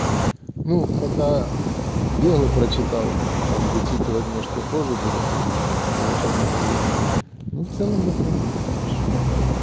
ну пока белый прочитал там вычитывать может попозже буду а тут не очень много времени но в целом нормально хорошо